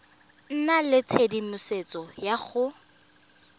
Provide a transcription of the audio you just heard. nna le tshedimosetso ya go